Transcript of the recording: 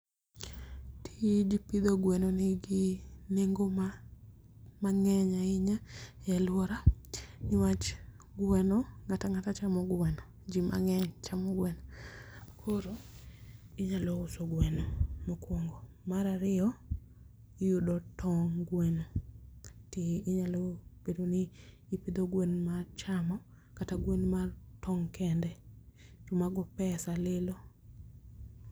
Tij pidho gweno nigi nengo mang'eny ahinya e aluora niwach gweno ng'at ang'ata chamo gweno jii mang'eny chamo gweno. Koro inyalo uso gweno mokwongo ,mar ariyo iyudo tong' gweno ti inyalo bedo ni ipidho gwen mar chamo kata gwen mar tong' kende to mago pesa lilo.